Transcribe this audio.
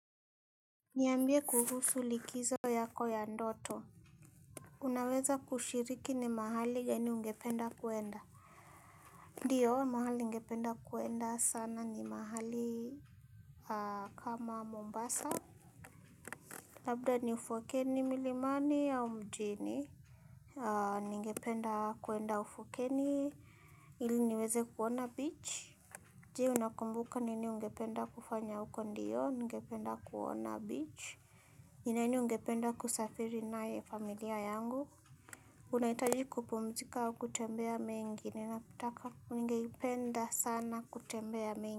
Niambie kuhusu likizo yako ya ndoto. Unaweza kushiriki ni mahali gani ungependa kuenda. Ndiyo mahali ungependa kuenda sana ni mahali kama Mombasa. Labda ni ufukweni milimani au mjini. Ningependa kuenda ufukeni ili niweze kuona beach. Je unakumbuka nini ungependa kufanya huko ndiyo ningependa kuona beach. Ni nani ungependa kusafiri naye familia yangu? Unaitaji kupumzika au kutembea mingi, ninapotaka ningeipenda sana kutembea mingi.